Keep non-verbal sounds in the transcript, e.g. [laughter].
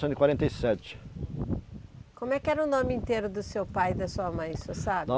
[unintelligible] quarenta e sete Como é que era o nome inteiro do seu pai e da sua mãe, o senhor sabe? [unintelligible]